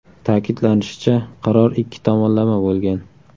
Ta’kidlanishicha, qaror ikki tomonlama bo‘lgan.